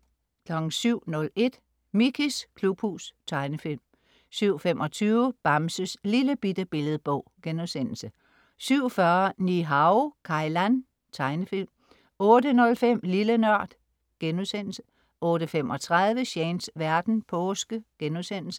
07.01 Mickeys klubhus. Tegnefilm 07.25 Bamses Lillebitte Billedbog* 07.40 Ni-Hao Kai Lan. Tegnefilm 08.05 Lille Nørd* 08.35 Shanes verden. Påske*